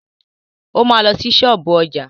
O ma lọ sí ṣọ́ọ̀bú ọjà.